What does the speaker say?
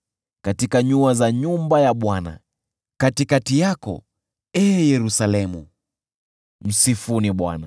katika nyua za nyumba ya Bwana , katikati yako, ee Yerusalemu. Msifuni Bwana .